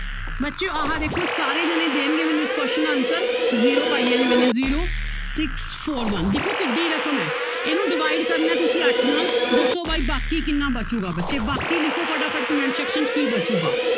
ਬੱਚਿਓ ਆਹ ਦੇਖੋ ਸਾਰੇ ਜਾਣੇ ਦੇਣਗੇ ਮੈਨੂੰ ਇਸ question ਦਾ answer zero ਪਾਈ ਹੈ ਇਹ ਮੈਨੇ zero six four one ਦੇਖੋ ਕਿੱਢੀ ਰਕਮ ਹੈ ਇਹਨੂੰ divide ਕਰਨਾ ਹੈ ਤੁਸੀਂ ਅੱਠ ਨਾਲ ਦੱਸੋ ਬਾਈ ਬਾਕੀ ਕਿੰਨਾ ਬਚੇਗਾ ਬੱਚੇ ਬਾਕੀ ਲਿਖੋ ਫਟਾਫਟ comment section 'ਚ ਕੀ ਬਚੇਗਾ।